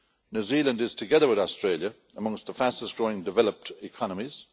New Zealand, together with Australia, is among the fastest growing developed economies.